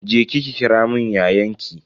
Je ki ki kiramun yayanki.